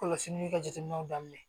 Kɔlɔsili kɛ jateminɛw daminɛ